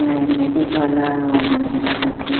ए आयुर्वेदिक वाला अऊ लगे लागत हे।